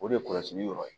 O de ye kɔlɔsili yɔrɔ ye